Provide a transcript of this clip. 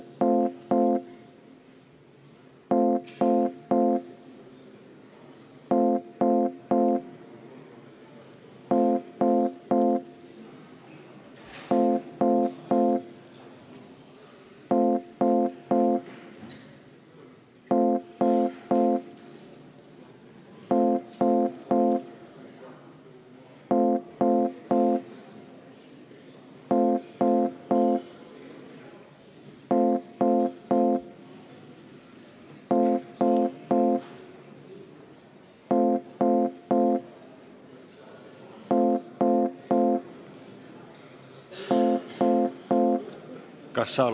Kas saal on valmis hääletama?